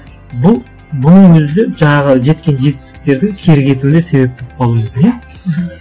бұл бұның өзі де жаңағы жеткен жетістіктердің кері кетуіне себеп болуы мүмкін иә мхм